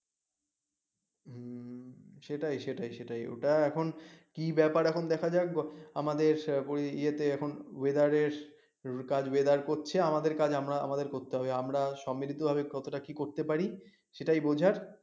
সেটাই সেটাই সেটাই ওটা এখন কি ব্যাপার এখন দেখা যাক আমাদের ইয়েত weather এর কাজ করছে আমাদের কাজ আমরা আমাদের করতে হবে, সম্মিলিত ভাবে কত টা কি করতে পার সেটাই বুঝার